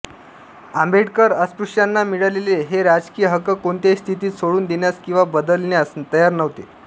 आंबेडकर अस्पृश्यांना मिळालेले हे राजकीय हक्क कोणत्याही स्थितीत सोडून देण्यास किंवा बदलण्यास तयार नव्हते